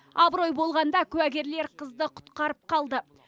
абырой болғанда куәгерлер қызды құтқарып қалды